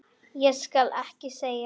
Ég skal ekki segja.